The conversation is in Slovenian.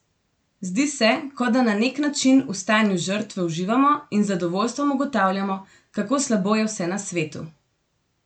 Zdi se, kot da na neki način v stanju žrtve uživamo in z zadovoljstvom ugotavljamo, kako slabo je vse na svetu.